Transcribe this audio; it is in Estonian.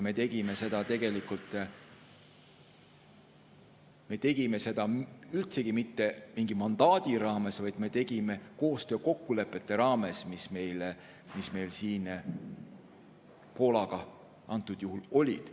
Me ei teinud seda tegelikult üldsegi mitte mingi mandaadi raames, vaid me tegime seda koostöökokkulepete raames, mis meil antud juhul Poolaga olid.